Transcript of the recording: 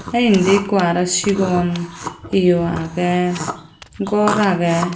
te indi ekku aro sigon iyo agey ghor agey.